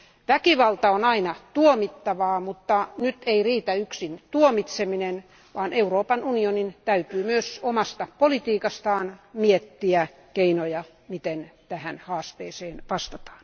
Väkivalta on aina tuomittavaa, mutta nyt ei riitä yksin tuomitseminen, vaan Euroopan unionin täytyy myös omasta politiikastaan miettiä keinoja, miten tähän haasteeseen vastataan.